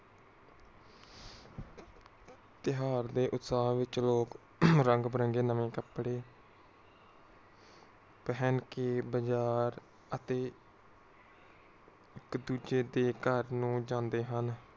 ਤਿਯੋਹਾਰ ਦੇ ਉਤਸਾਹ ਵਿਚ ਰੰਗ ਵਿਰੰਗੇ ਨਵੇਂ ਕੱਪੜੇ ਪਹਿਨਕੇ ਬਜ਼ਾਰ ਅਤੇ ਇੱਕ ਦੂਜੇ ਦੇ ਘਰ ਨੂੰ ਜਾਂਦੇ ਹਨ।